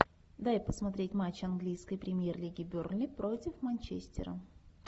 дай посмотреть матч английской премьер лиги бернли против манчестера